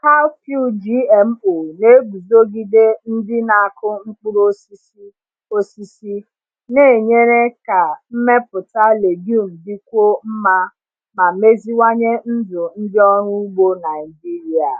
Cowpea GMO na-eguzogide ndị na-akụ mkpụrụ osisi, osisi, na-enyere ka mmepụta legume dịkwuo mma ma meziwanye ndụ ndị ọrụ ugbo Naijiria.